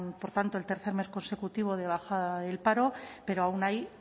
por tanto el tercer mes consecutivo de bajada del paro pero aún hay